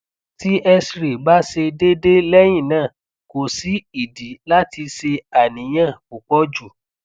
ti cs] xray ba se dede lehina ko si idi lati se aniyan pupo ju